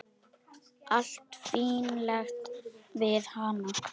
Allt fínlegt við hana.